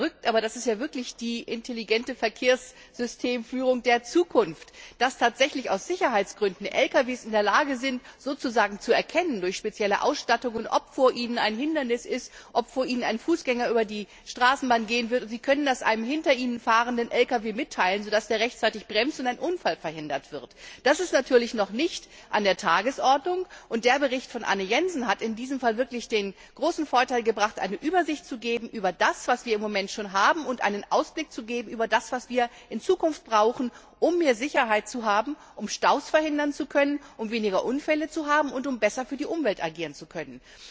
Das klingt verrückt, aber das ist ja wirklich die intelligente Verkehrssystemführung der Zukunft, dass LKW aus Sicherheitsgründen tatsächlich in der Lage sind, durch spezielle Ausstattungen zu erkennen, ob vor ihnen ein Hindernis ist, ob vor ihnen ein Fußgänger über die Straße gehen will, und sie können das dann einem hinter ihnen fahrenden LKW mitteilen, so dass der rechtzeitig bremst und ein Unfall verhindert wird. Das ist natürlich noch nicht auf der Tagesordnung, und der Bericht von Anne Jensen hat in diesem Fall wirklich den großen Vorteil gebracht, eine Übersicht darüber zu geben, was wir im Moment schon haben, und einen Ausblick darauf zu geben, was wir in Zukunft brauchen, um mehr Sicherheit zu haben, um Staus verhindern zu können, weniger Unfälle zu haben und besser für die Umwelt agieren zu können.